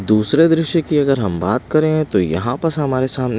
दूसरे दृश्य की अगर हम बात करें तो यहाँ पर हमारे सामने--